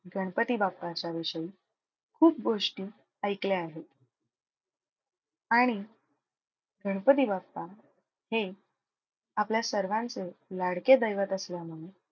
गणपती बाप्पाच्या विषयी खूप गोष्टी ऐकल्या आहेत. आणि गणपती बाप्पा हे आपल्या सर्वांचे लाडके दैवत असल्यामुळे,